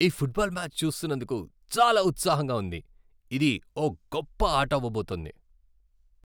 ఈ football match చూస్తున్నందుకు చాలా ఉత్సాహంగా ఉంది! ఇది ఓ గొప్ప ఆట అవబోతోంది.